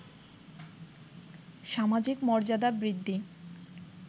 সামাজিক মর্যাদা বৃদ্ধি